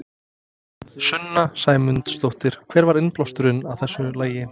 Sunna Sæmundsdóttir: Hver var innblásturinn að þessu lagi?